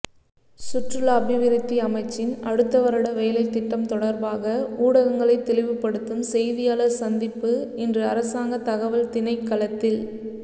சுற்றுலா அபிவிருத்தி அமைச்சின் அடுத்தவருட வேலைத்திட்டம் தொடர்பாக ஊடகங்களை தெளிவுபடுத்தும் செய்தியாளர் சந்திப்பு இன்று அரசாங்க தகவல் திணைக்களத்தில்